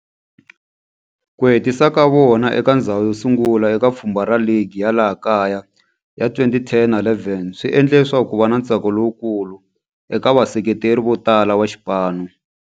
Ku hetisa ka vona eka ndzhawu yosungula eka pfhumba ra ligi ya laha kaya ya 2010 na 11 swi endle leswaku kuva na ntsako lowukulu eka vaseketeri vo tala va xipano.